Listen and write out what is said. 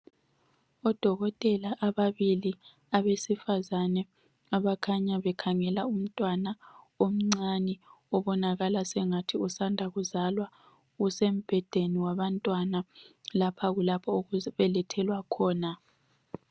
Odokotela ababili abesifazane abakhanya bekhangela umntwana omncane obonakala sengathi usanda kuzalwa usembhedeni wabantwana. Lapha kulapho okubelethelwa khona.